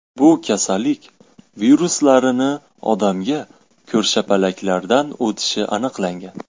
Bu kasallik viruslarini odamga ko‘rshapalaklardan o‘tishi aniqlangan.